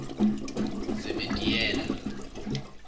zebediela